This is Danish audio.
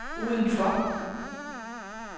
udenfor